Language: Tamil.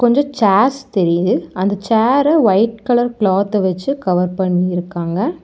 கொஞ்சோ சேர்ஸ் தெரியுது அந்தச் சேர ஒயிட் கலர் கிளாத்த வச்சு கவர் பண்ணிருக்காங்க.